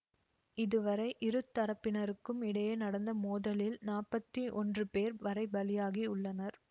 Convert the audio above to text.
இதுவரை இரு தரப்பினருக்கும் இடையே நடந்த மோதலில் நாப்பத்தி ஒன்று பேர் வரை பலியாகியுள்ளனர்